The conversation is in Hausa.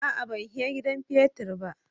A'a, ban he gidan petir ba.